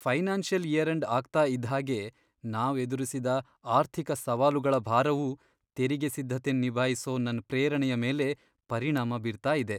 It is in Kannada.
ಫೈನಾನ್ಸಿಯಲ್ ಇಯರ್ ಎಂಡ್ ಆಗ್ತಾ ಇದ್ ಹಾಗೆ, ನಾವ್ ಎದುರಿಸಿದ ಆರ್ಥಿಕ ಸವಾಲುಗಳ ಭಾರವು ತೆರಿಗೆ ಸಿದ್ಧತೆನ್ ನಿಭಾಯಿಸೊ ನನ್ ಪ್ರೇರಣೆಯ ಮೇಲೆ ಪರಿಣಾಮ ಬೀರ್ತಾ ಇದೆ.